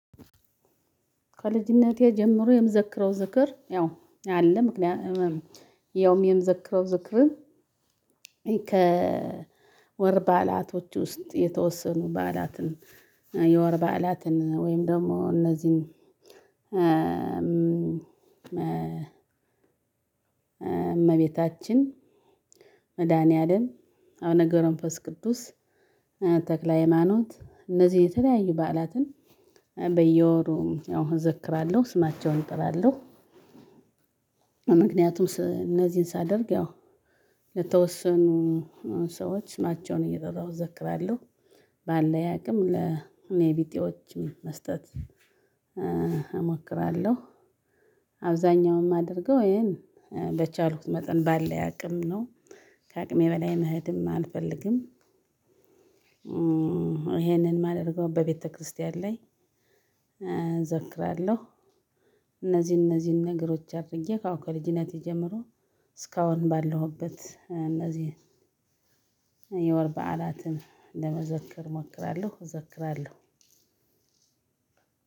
ከልጅነቴ ጀምሮ የምዘክረው ዝክር ያው አለ። ያውም የምዘክረው ዝክር። ከወር በዓላቶች ውስጥ የተወሰኑ በዓላትን የወር በዓላትን ወይም ደሞ እነዚህን እመቤታችን መድኃኒዓለም አብነ ገብረ መንፈስ ቅዱስ ተክለ ሃይማኖት እነዚህ የተለያዩ በዓላትን በየወሩ እዘክራለሁ ስማቸውን እጥራለሁ። ምክንያቱም እነዚህን ሳደርግ ያው ለተወሰኑ ሰዎች ናቸውን እየጠራሁ እዘክራለሁ። ባልለኝ አቅም ለኔ ቢጤዎች መስጠት እሞክራለሁ። አብዛኛውን እማደርገው ይሄን በቻልኩት መጠን ባለ አቅም ነው። ከ አቅሜ በላይ መሄድም አልፈልግም። ይሄንን እማደርገው በቤተክርስቲያን ላይ እዘክራለሁ። እነዚህ እነዚህን ነገሮች አድርጌ አው ከልጅነቴ ጀምሮ እስካሁን ባለሁበት እነዚህ የወር በዓላትን ለመዘከር እሞክራለሁ እዘክራለሁ።